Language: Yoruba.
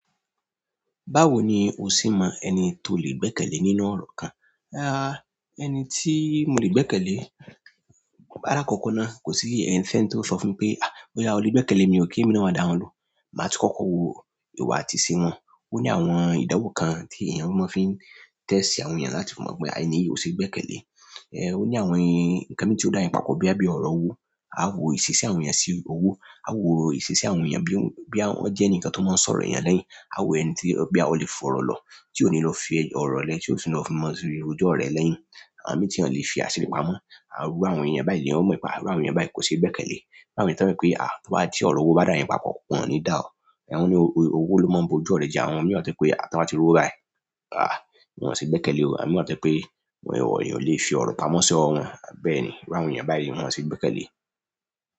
Báwo ni o sì mọ ẹni tó lè gbẹ́kẹ̀lé nínú ọ̀rọ̀ kan? Ehn, ẹni tí mo lè gbẹ́kẹ̀lé, alakọkọ náà kò sí ẹnì fẹ́n tó sọ fún mi pé "à, óyá o lè gbẹ́kẹ̀lé mi, ò kí emi náà o wa dawọn lohun". Máa ti kọkọ wò ìwà àti ìṣe wọn. Ó ní àwọn ìdàwọ́ kan tí èèyàn máa fi ń test àwọn èèyàn láti mọ̀ bọya ẹni yìí ò ṣe gbẹ́kẹ̀lé. Ehn, ó ní àwọn ǹkan mi tí ó dá yin papọ̀ bọya bí ọ̀rọ̀ owó, a wò ìsesí àwọn èèyàn sí owó, a wò ìsesí àwọn èèyàn bọya wọ́n jẹ́ ẹni kan tó máa ń sọ̀rọ̀ èèyàn lẹ́yìn, a wò ẹni tí bọya a lè fọ̀rọ̀ lọ tí ò ní lọ fi ọ̀rọ̀ rẹ́, tí ò sì ní lọ fi mọ̀ rojọ rẹ̀ lẹ́yìn. Àwọn mii tí wọn lè fi asiri pamọ́, àwọn iru àwọn èèyàn báyìí l'eyan o mọ pe, à iru àwọn èèyàn báyìí kò ṣe gbẹ́kẹ̀lé. Bi àwọn ẹni to jẹ wípé ti ọrọ owo ba da yin papọ̀ wọn ní gba ọ. Ẹ̀wọ̀n ni owó ló máa ń bo'jú ọrẹ̀ jẹ. Àwọn mìíràn wa to jẹ pé à tí wọ́n bá ti r'owo baii, à wọ̀n ṣe gbẹ́kẹ̀lé o. Àwọn mìíràn wa tojẹ pé ìwọ̀ èèyàn lè fi ọ̀rọ̀ pamọ́ sọ́ ọ wọn, bẹ́ẹ̀ ni. Iru àwọn èèyàn báyìí, wọ́n ò ṣe gbẹ́kẹ̀lé.